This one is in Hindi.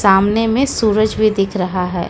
सामने में सूरज भी दिख रहा है।